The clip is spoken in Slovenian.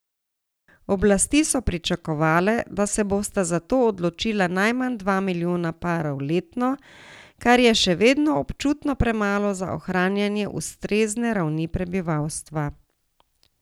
Oblasti so pričakovale, da se bosta za to odločila najmanj dva milijona parov letno, kar je še vedno občutno premalo za ohranjanje ustrezne ravni prebivalstva.